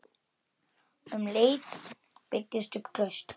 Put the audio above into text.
Um leið byggist upp traust.